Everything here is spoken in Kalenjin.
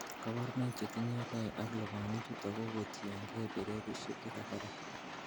Koborunoik chetinyegei ak lubanichuton kokotiengei bererisiek chekakerak.